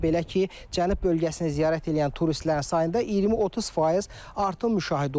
Belə ki, Cənub bölgəsinə ziyarət eləyən turistlərin sayında 20-30% artım müşahidə olunub.